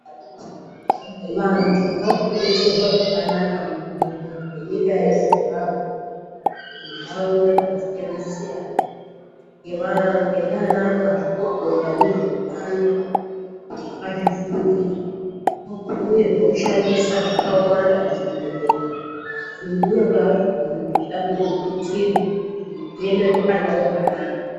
Vantu varikudetserwa zvakanaka muzvibhedhlera zvenyika yeZimbabwe, muntaraunda dzakasiyana-siyana ngaanamazvikokota vezveutano vakazvifundira uye zvekushandisa zvakawanda muzvibhedhlera kunyangwe hazvo zvimwe zvechida kuzothutsirwa kuti zvionerwe pandau yakanaka.